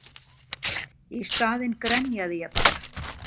Í staðinn grenjaði ég bara.